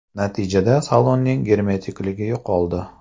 Natijada salonning germetikligi yo‘qoldi.